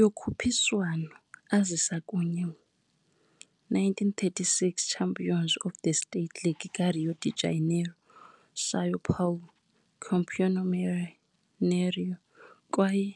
Yokhuphiswano azisa kunye 1936 champions of the state leagues ka - Rio de Janeiro, São Paulo, Campeonato Mineiro kwaye